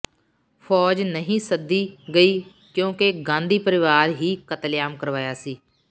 ਫੌਜ ਨਹੀਂ ਸੱਦੀ ਗਈ ਕਿਉਂਕਿ ਗਾਂਧੀ ਪਰਿਵਾਰ ਹੀ ਕਤਲੇਆਮ ਕਰਵਾਇਆ ਸੀ